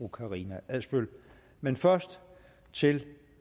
karina adsbøl men først til